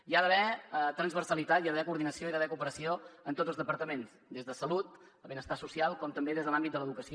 hi ha d’haver transversalitat hi ha d’haver coordinació hi ha d’haver cooperació amb tots els departaments des de salut benestar social com també des de l’àmbit de l’educació